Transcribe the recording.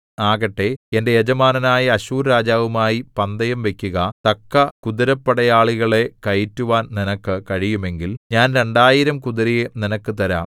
ആകട്ടെ എന്റെ യജമാനനായ അശ്ശൂർരാജാവുമായി പന്തയംവയ്ക്കുക തക്ക കുതിരപ്പടയാളികളെ കയറ്റുവാൻ നിനക്ക് കഴിയുമെങ്കിൽ ഞാൻ രണ്ടായിരം കുതിരയെ നിനക്ക് തരാം